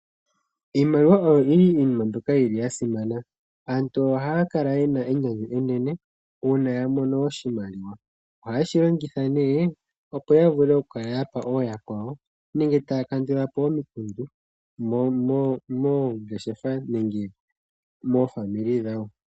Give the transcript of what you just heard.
Iimaliwa oyo iinima mbyoka yili ya simana. Aantu ohaya kala ye na enyanyu enene uuna ya mono oshimaliwa oha yeshi longitha nee opo ya vule okukala yapa ooyakwawo nenge taya kandula po omikundu moongeshefa nenge momazimo gawo.